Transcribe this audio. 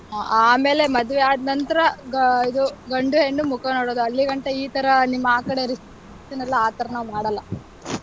ಹ್ಮ್, ಆಮೇಲೆ ಮದ್ವೆ ಆದ್ ನಂತ್ರ ಆಹ್ ಇದು ಗಂಡು, ಹೆಣ್ಣು ಮುಖ ನೋಡೋದು. ಅಲ್ಲಿಗಂಟ ಈ ತರ ನಿಮ್ಮ ಆ ಕಡೆ reception ಎಲ್ಲಾ ಆ ತರ ನಾವ್ ಮಾಡಲ್ಲ.